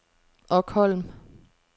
Okholm